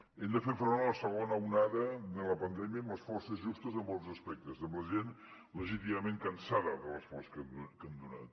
hem de fer front a la segona onada de la pandèmia amb les forces justes en molts aspectes amb la gent legítimament cansada de l’esforç que han donat